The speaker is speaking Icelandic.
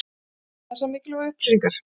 Voru þetta þessar mikilvægu upplýsingar?